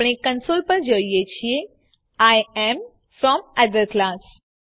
આપણે કંસોલ પર જોઈએ છીએ I am from other class